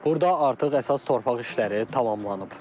Burda artıq əsas torpaq işləri tamamlanıb.